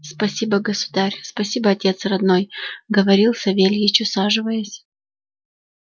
спасибо государь спасибо отец родной говорил савельич усаживаясь